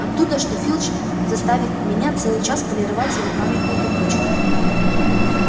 оттуда что филч заставил меня целый час полировать его памятную табличку